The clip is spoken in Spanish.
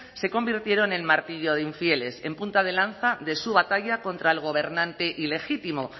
se convirtieron en martillo de infieles en punta de lanza de su batalla contra el gobernante ilegítimo